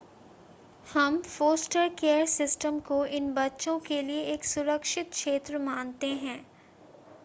हम foster care system को इन बच्चों के लिए एक सुरक्षित क्षेत्र मानते हैं